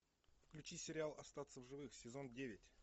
включи сериал остаться в живых сезон девять